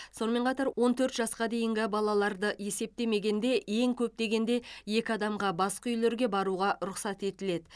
сонымен қатар он төрт жасқа дейінгі балаларды есептемегенде ең көп дегенде екі адамға басқа үйлерге баруға рұқсат етіледі